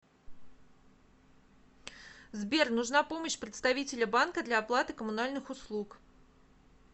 сбер нужна помощь представителя банка для оплаты коммунальных услуг